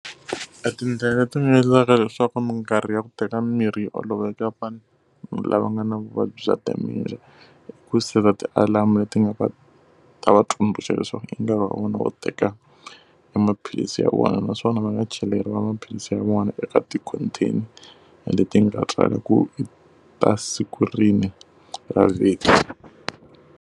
Etindlela leti nga endlaka leswaku minkarhi ya ku teka mirhi yi olovela ya vanhu lava nga na vuvabyi bya dementia i ku seta ti-alarm-u leti nga va ta va tsundzuxa leswaku i nkarhi wa vona wo teka emaphilisi ya vona. Naswona va nga cheleriwa maphilisi ya vona eka ti-contain leti ti nga tswariwa ku i ta siku rini ra vhiki.